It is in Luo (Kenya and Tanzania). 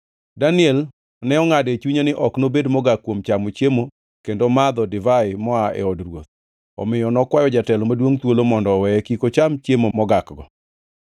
Daniel to nongʼado e chunye ni ok nobed mogak kuom chamo chiemo kendo madho divai moa e od ruoth, omiyo nokwayo jatelo maduongʼ thuolo mondo oweye kik ocham chiemo mogakgo.